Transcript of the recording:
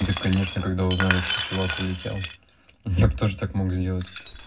да конечно когда узнали что чувак улетел я б тоже так мог сделать